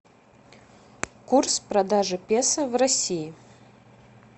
курс продажи песо в россии